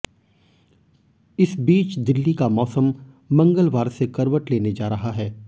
इस बीच दिल्ली का मौसम मंगलवार से करवट लेने जा रहा है